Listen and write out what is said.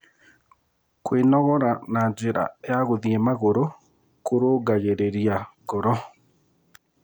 Kwĩnogora na njĩra ya gũthie magũrũ kũrũngagĩrĩria ngoro